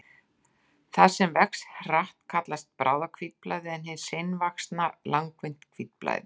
Það sem vex hratt kallast bráðahvítblæði en hið seinvaxna langvinnt hvítblæði.